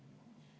Me oleme olnud ...